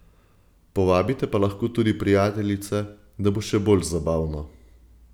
Povabite pa lahko tudi prijateljice, da bo še bolj zabavno.